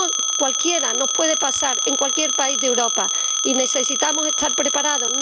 A cualquiera nos puede pasar en cualquier país de Europa y necesitamos estar preparados.